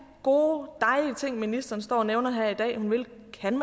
gode dejlige ting ministeren står og nævner hun vil her i